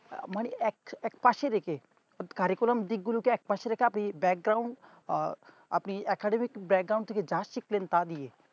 আহ মানে এক~এক পশে রেখে curriculam দিকগুলকে একপশে রেখে আপনি আহ আপনি academic থেকে যা শিখলেন তা দিয়ে